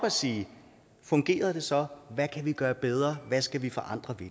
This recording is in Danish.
og sige fungerede det så hvad kan vi gøre bedre hvad skal vi forandre ved